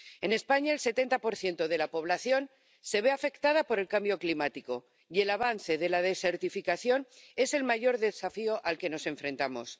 En España el 70 de la población se ve afectada por el cambio climático y el avance de la desertificación es el mayor desafío al que nos enfrentamos.